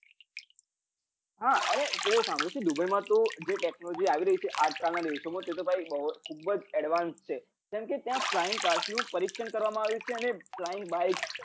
હ અરે તે સાંભળ્યું છે દુબઇ માં તો જે technology આવી રઈ છે આજ કલ ના દિવસો માં એતો બૌ ખૂબબજ છે advance કમ કે ત્યાં flying cars નું પરીક્ષણ કરવામાં આવ્યું છે અને flying bikes